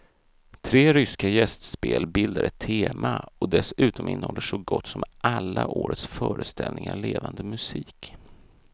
Tre ryska gästspel bildar ett tema och dessutom innehåller så gott som alla årets föreställningar levande musik.